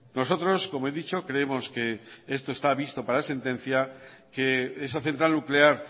nosotros como he dicho creemos que esto está visto para sentencia que esa central nuclear